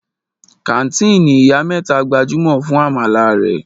Kàńtìnì Ìyá mẹ́ta gbajúmọ̀ fún àmàlà rẹ̀.